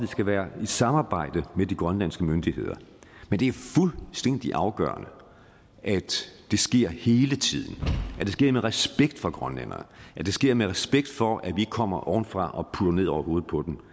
skal være i samarbejde med de grønlandske myndigheder men det er fuldstændig afgørende at det sker hele tiden at det sker med respekt for grønlænderne at det sker med respekt for at vi ikke kommer ovenfra og putter noget ned over hovedet på dem